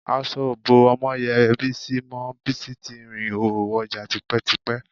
Aṣọ ò bó Ọmọ́yẹ Bísí mọ́, Bísí ti rìnhòhò wọjà tipẹ́tipẹ́